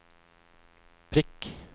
prikk